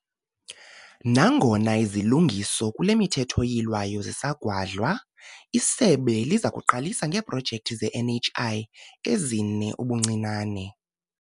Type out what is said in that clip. Nangona izilungiso kule miThetho iYilwayo zisagwadlwa, isebe liza kuqalisa ngeeprojekthi ze-NHI ezine ubuncinane.